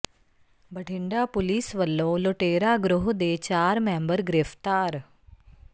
Bathinda police ਵੱਲੋ ਲੁਟੇਰਾ ਗਰੋਹ ਦੇ ਚਾਰ ਮੈਬਰ ਗ੍ਰਿਫ਼ਤਾਰ